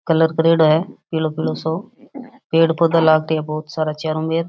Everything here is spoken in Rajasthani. कलर करेडो है पिलो कलर सो पेड़ पौधा लाग रा बहुत सारा चारो मेर।